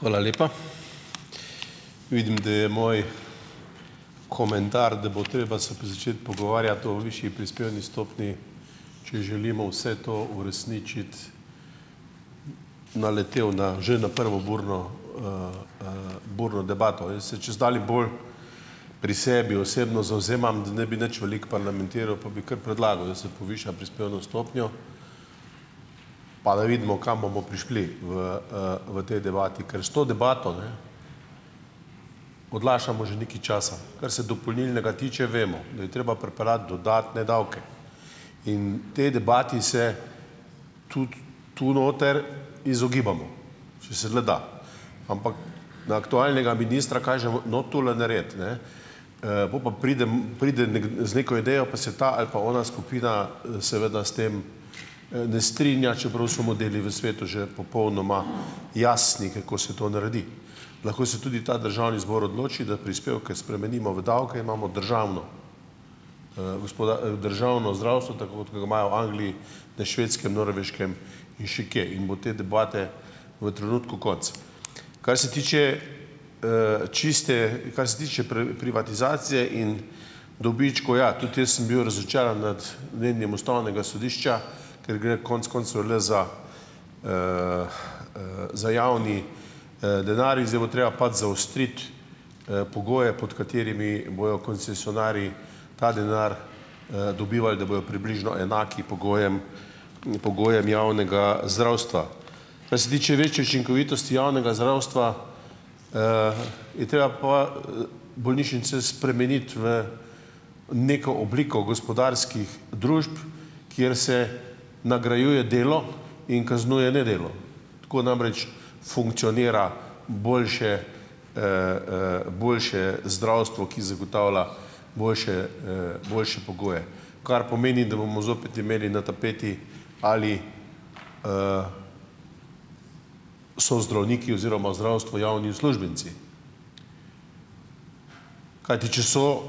Hvala lepa. Vidim, da je moj komentar, da bo treba se začeti pogovarjati o višji prispevni stopnji, če želimo vse to uresničiti, naletel na že na prvo burno, burno debato. Jaz se čedalje bolj pri sebi osebno zavzemam, da ne bi nič veliko parlamentiral, pa bi kar predlagal, da se poviša prispevno stopnjo, pa da vidimo, kam bomo prišli, v, v tej debati, ker s to debato, ne, odlašamo že nekaj časa. Kar se dopolnilnega tiče, vemo da je treba pripeljati dodatne davke. In v tej debati se tudi tu noter izogibamo, če se le da, ampak na aktualnega ministra kažemo, no, tole naredi, ne, pol pa pride, pride z neko idejo pa se ta ali pa ona skupina, seveda s tem, ne strinja, čeprav so modeli v svetu že popolnoma jasni, kako se to naredi. Lahko se tudi ta državni zbor odloči, da prispevke spremenimo v davke, imamo državno, državno zdravstvo, tako kot ga imajo v Angliji, na Švedskem, Norveškem in še kje in bo te debate v trenutku konec. Kar se tiče, čiste, kar se tiče privatizacije in dobičkov. Ja, tudi jaz sem bil razočaran nad mnenjem ustavnega sodišča, ker gre konec koncev le za, za javni, denar in zdaj bo treba pač zaostriti, pogoje, pod katerimi bojo koncesionarji ta denar, dobivali, da bojo približno enaki pogojem, pogojem javnega zdravstva. Kar se tiče večje učinkovitosti javnega zdravstva, je treba pa bolnišnice spremeniti v neko obliko gospodarskih družb, kjer se nagrajuje delo in kaznuje nedelo. Tako namreč funkcionira boljše, boljše zdravstvo, ki zagotavlja boljše, boljše pogoje. Kar pomeni, da bomo zopet imeli na tapeti, ali, so zdravniki oziroma zdravstvo, javni uslužbenci? Kajti če so,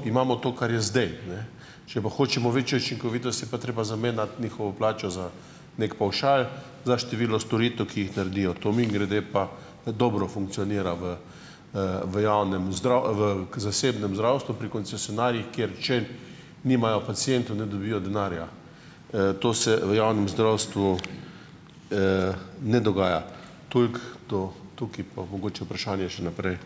imamo to, kar je zdaj, ne. Če pa hočemo večjo učinkovitost, je pa treba zamenjati njihovo plačo za neki pavšal, za število storitev, ki jih naredijo. To mimogrede pa dobro funkcionira v, v javnem v ker zasebnem zdravstvu pri koncesionarjih, kjer če nimajo pacientov, ne dobijo denarja. To se v javnem zdravstvu, ne dogaja. Toliko do tukaj, pa mogoče vprašanje še naprej.